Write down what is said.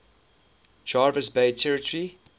jervis bay territory